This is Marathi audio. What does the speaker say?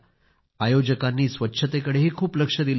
आयोजकांनी स्वच्छतेकडे पण खूप लक्ष दिलं होते